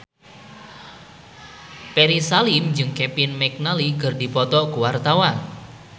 Ferry Salim jeung Kevin McNally keur dipoto ku wartawan